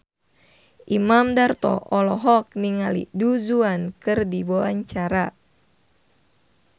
Imam Darto olohok ningali Du Juan keur diwawancara